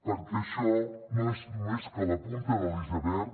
perquè això no és més que la punta de l’iceberg